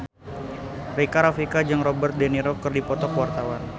Rika Rafika jeung Robert de Niro keur dipoto ku wartawan